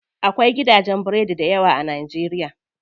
Akwai gidajen biredi dayawa a najeriya.